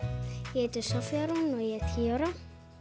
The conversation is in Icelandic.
ég heiti Soffía Rún og ég er tíu ára